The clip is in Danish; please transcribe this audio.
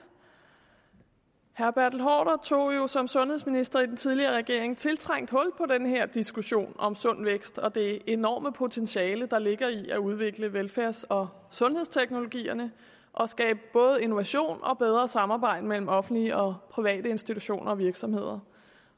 herre bertel haarder tog jo som sundhedsminister i den tidligere regering tiltrængt hul på den her diskussion om sund vækst og det enorme potentiale der ligger i at udvikle velfærds og sundhedsteknologierne og skabe både innovation og bedre samarbejde mellem offentlige og private institutioner og virksomheder